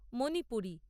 Manipuri